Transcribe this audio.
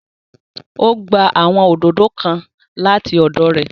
O gba awọn òdodo kàn lati ọdọ rẹ